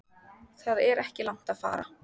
Það er ekki langt að fara.